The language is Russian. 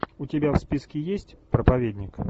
у тебя в списке есть проповедник